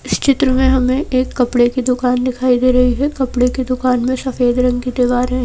इस चित्र में हमें एक कपड़े की दुकान दिखाई दे रही है कपड़े की दुकान में सफेद रंग की दीवार है।